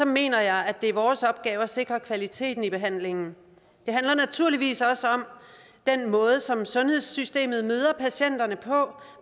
mener jeg at det er vores opgave at sikre kvaliteten i behandlingen det handler naturligvis også om den måde som sundhedssystemet møder patienterne på